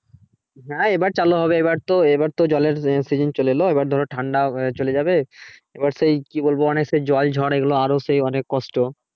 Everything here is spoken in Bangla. হ্যা এবার চালু হবে এবার তো এবার তো জলের season চলে এল এবার ধরো ঠান্ডা চলে যাবে এই সেই কি বলবো অনেক সেই জল ঝড় এগুলো সেই আরো সেই কষ্ট